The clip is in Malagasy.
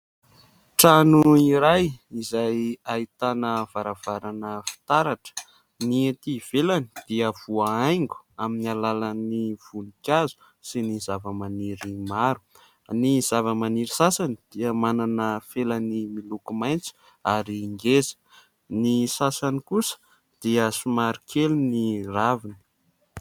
Trano iray izay ahitana varavarana fitaratra. Ny etỳ ivelany dia voahaingo amin'ny alalan'ny voninkazo sy zavamaniry maro. Ny zavamaniry sasany dia manana felany miloko maitso ary ngeza, ny sasany kosa dia somary kely ny raviny.